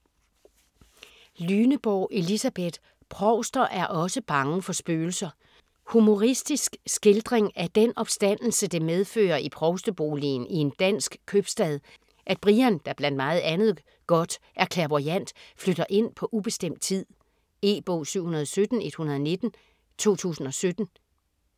Lyneborg, Elisabeth: Provster er osse bange for spøgelser Humoristisk skildring af den opstandelse det medfører i provsteboligen i en dansk købstad, at Brian, der blandt meget andet godt er clairvoyant, flytter ind på ubestemt tid. E-bog 717119 2017.